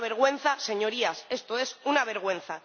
Es una vergüenza, Señorías, esto es una vergüenza.